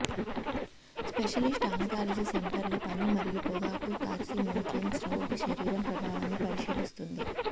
specialist oncology centre లో పని మరియు పొగాకు కార్సినోజెన్స్ రోగి శరీరం ప్రభావాన్ని పరిశీలిస్తుంది